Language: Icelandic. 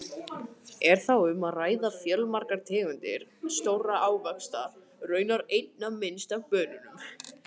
Er þá um að ræða fjölmargar tegundir stórra ávaxta, raunar einna minnst af banönum!